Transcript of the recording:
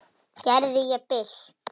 Gerði ég þér bylt við?